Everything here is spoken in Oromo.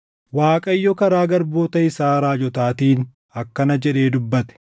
Waaqayyo karaa garboota isaa raajotaatiin akkana jedhee dubbate;